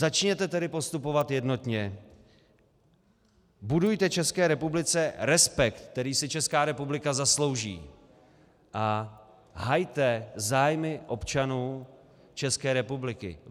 Začněte tedy postupovat jednotně, budujte České republice respekt, který si Česká republika zaslouží, a hajte zájmy občanů České republiky.